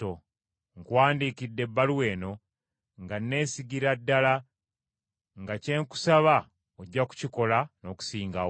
Nkuwandiikidde ebbaluwa eno nga neesigira ddala nga kye nkusaba ojja kukikola n’okusingawo!